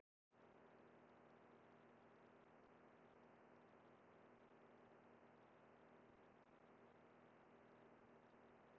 Á Íslandi, eins og í flestum öðrum löndum, ríkir svokallað félaga- og fundafrelsi.